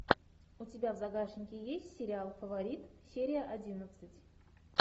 у тебя в загашнике есть сериал фаворит серия одиннадцать